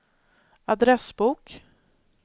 adressbok